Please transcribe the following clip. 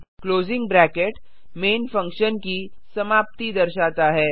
closing bracket main function की समाप्ति दर्शाता है